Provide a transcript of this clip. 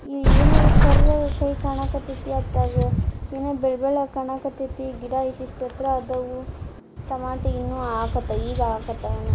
ಇಲ್ಲಿ ಏನೋ ಕರ್ ಕೈಯಿ ಕಾಣಕತೈತಿ ಅತ್ತಗ ಏನೋ ಬೆಳ್ಳ ಬೆಳ್ಳಗ ಕಾಣಕತೈತಿ ಗಿಡ ಇಶಿಷ್ಟ ಎತ್ರ ಅದಾವು ಟೊಮೆಟ ಇನ್ನು ಹಾಕತ್ ಈಗ ಹಾಕತ್ ಏನೋ .